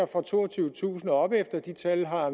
fra toogtyvetusind kroner og opefter de tal har